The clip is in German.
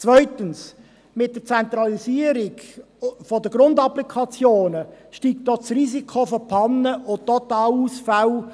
Zweitens: Mit der Zentralisierung der Grundapplikationen steigt das Risiko von Pannen und Totalausfällen.